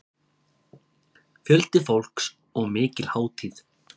Fjöldi fólks og mikil hátíð